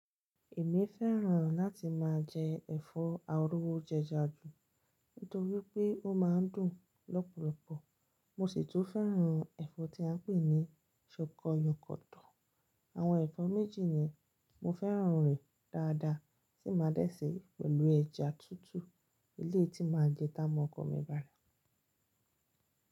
Èmi fẹ́ràn láti máa jẹ ẹ̀fọ́ arowo jẹja jù nítorí pé ó máa ń dùn lọ́pọ̀lọpọ̀. Mo sì tún fẹ́ràn ẹ̀fọ́ tí à ń pè ní ṣòkò yòkòtò. Àwọn ẹ̀fọ́ méjì ni mo fẹ́ràn rẹ̀ dáadáa tí máa dẹ́sẹ̀ pẹ̀lú ẹja tútù, elé tí máa jẹ ta mọkọ mi bá ràá.